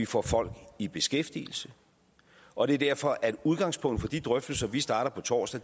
få folk i beskæftigelse og det er derfor at udgangspunktet for de drøftelser vi starter på torsdag